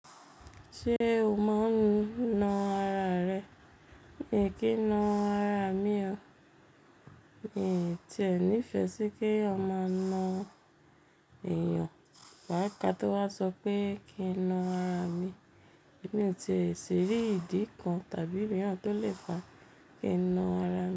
Ṣé o mọ n na ara rẹ? Mi kì na ara mi o. Mi ò tí e ní ìfẹ́ sí kí èèyàn máa na èèyàn. Wà ká tó wa sọ pé kí n na ara mi. Èmi ò tíì ṣi rí ìdí kan tàbí omìran tó le fa kí n na ara mi.